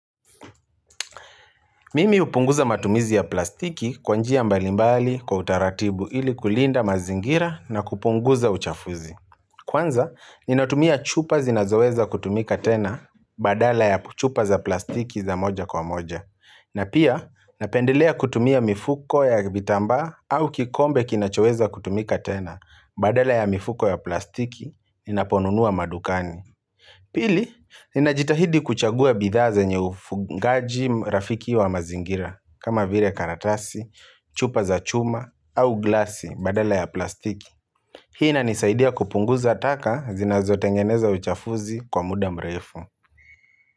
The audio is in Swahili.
Mimi hupunguza matumizi ya plastiki kwa njia mbalimbali kwa utaratibu ili kulinda mazingira na kupunguza uchafuzi. Kwanza, ninatumia chupa zinazoweza kutumika tena badala ya chupa za plastiki za moja kwa moja. Na pia, napendelea kutumia mifuko ya vitambaa au kikombe kinachoweza kutumika tena badala ya mifuko ya plastiki ninaponunua madukani. Pili, ninajitahidi kuchagua bidhaa zinye ufungaji rafiki wa mazingira kama vile karatasi, chupa za chuma au glasi badala ya plastiki Hii inanisaidia kupunguza taka zinazotengeneza uchafuzi kwa muda mrefu.